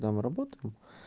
да мы работаем